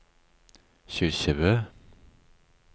Kyrkjebø